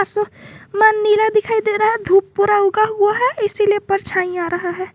नीला दिखाई दे रहा है धूप पूरा उगा हुआ है इसलिए परछाई आ रहा है।